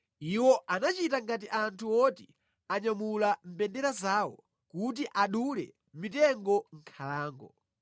Iwo anachita ngati anthu oti anyamula mbendera zawo kuti adule mitengo mʼnkhalango.